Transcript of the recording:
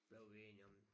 Blev vi enige om